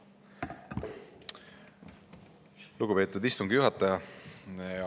Lugupeetud istungi juhataja!